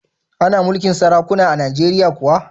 Ana mulkin sarakuna a Najeriya kuwa?